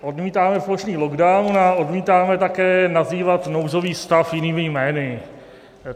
Odmítáme plošný lockdown a odmítáme také nazývat nouzový stav jinými jmény.